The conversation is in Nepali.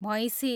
भैँसी